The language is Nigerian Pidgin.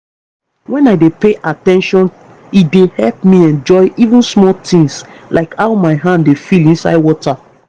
when i dey pay at ten tion e dey help me enjoy even small tins like how my hand dey feel inside water